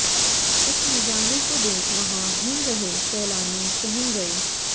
इस नजारे को देख वहां घूम रहे सैलानी सहम गए